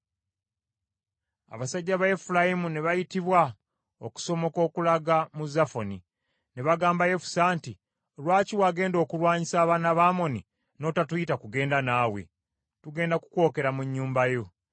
Abasajja ba Efulayimu ne bayitibwa okusomoka okulaga mu Zafoni. Ne bagamba Yefusa nti, “Lwaki wagenda okulwanyisa abaana ba Amoni, n’otatuyita kugenda naawe? Tugenda kukwokera mu nnyumba yo.”